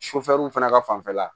fana ka fanfɛla